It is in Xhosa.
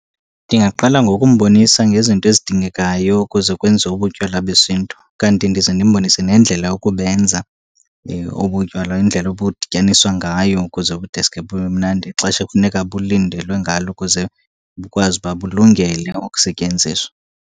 Ndingaqala ngokumbonisa ngezinto ezidingekayo kuze kwenziwe ubutywala besiNtu. Kanti ndize ndimbonise nendlela yokubenza obutywala, indlela obudityaniswa ngayo kuze kudeske bube mnandi, ixesha ekufuneka bulindelwe ngalo ukuze bukwazi uba bulungele ukusetyenziswa.